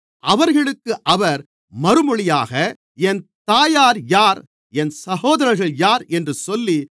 அவர்களுக்கு அவர் மறுமொழியாக என் தாயார் யார் என் சகோதரர்கள் யார் என்று சொல்லி